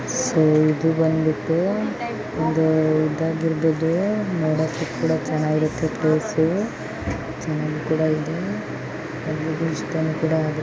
So ಇದು ಬಂದಬಿಟ್ಟು ಒಂದು ಇದಾಗಿರಬಹುದು ನೋದಕ್ಕೂ ಕೂಡ ಚೆನ್ನಾಗಿರುತೆ ಪ್ಲೇಸು ಚೆನ್ನಾಗಿ ಕೂಡ ಇದೆ ಅದು ಇಷ್ಟಾನು ಕೂಡ ಆಗುತೆ.